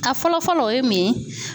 A fɔlɔ fɔlɔ o ye mun ye?